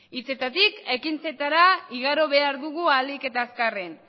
hitzetatik ekintzetara igaro behar dugu ahalik eta azkarren